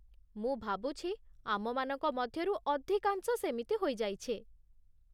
ମୁଁ ଭାବୁଛି ଆମମାନଙ୍କ ମଧ୍ୟରୁ ଅଧିକାଂଶ ସେମିତି ହୋଇଯାଇଛେ।